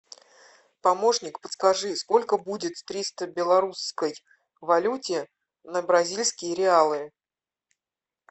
помощник подскажи сколько будет триста в белорусской валюте на бразильские реалы